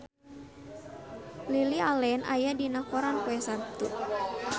Lily Allen aya dina koran poe Saptu